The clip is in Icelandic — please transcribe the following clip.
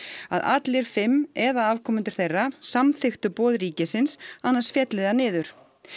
að allir fimm eða afkomendur þeirra samþykktu boð ríkisins annars félli það niður